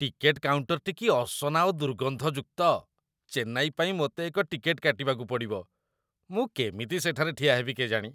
Ticket କାଉଣ୍ଟରଟି କି ଅସନା ଓ ଦୁର୍ଗନ୍ଧଯୁକ୍ତ! ଚେନ୍ନାଇ ପାଇଁ ମୋତେ ଏକ ଟିକେଟ୍‌ କାଟିବାକୁ ପଡ଼ିବ, ମୁଁ କେମିତି ସେଠାରେ ଠିଆ ହେବି କେଜାଣି?